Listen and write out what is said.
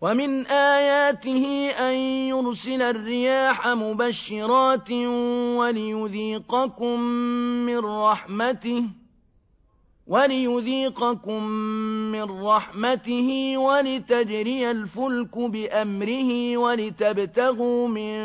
وَمِنْ آيَاتِهِ أَن يُرْسِلَ الرِّيَاحَ مُبَشِّرَاتٍ وَلِيُذِيقَكُم مِّن رَّحْمَتِهِ وَلِتَجْرِيَ الْفُلْكُ بِأَمْرِهِ وَلِتَبْتَغُوا مِن